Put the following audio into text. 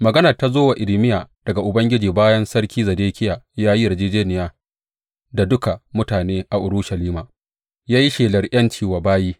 Maganar ta zo wa Irmiya daga Ubangiji bayan Sarki Zedekiya ya yi yarjejjeniya da duka mutane a Urushalima ya yi shelar ’yanci wa bayi.